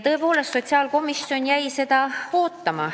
Tõepoolest, sotsiaalkomisjon jäi seda ootama.